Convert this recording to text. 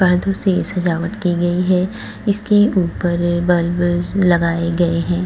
पर्दो से सजावट की गई है। इसके उपर बल्ब लगाए गए है। .